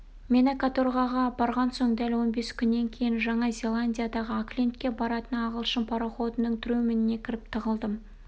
мені каторгаға апарған соң дәл он бес күннен кейін жаңа зеландиядағы оклендке баратын ағылшын пароходының трюміне кіріп тығылдым